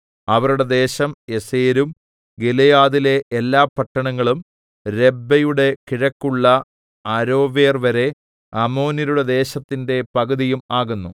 അവരുടെ ദേശം യസേരും ഗിലെയാദിലെ എല്ലാ പട്ടണങ്ങളും രബ്ബയുടെ കിഴക്കുള്ള അരോവേർവരെ അമ്മോന്യരുടെ ദേശത്തിന്റെ പകുതിയും ആകുന്നു